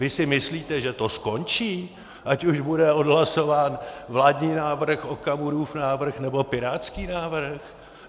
Vy si myslíte, že to skončí, ať už bude odhlasován vládní návrh, Okamurův návrh, nebo pirátský návrh?